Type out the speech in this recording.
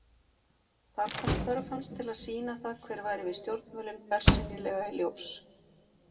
Þar kom þörf hans til að sýna það hver væri við stjórnvölinn bersýnilega í ljós.